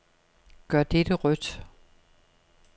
Gør dette rødt.